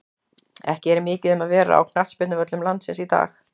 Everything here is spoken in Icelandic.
Ekki er mikið um að vera á knattspyrnuvöllum landsins í dag.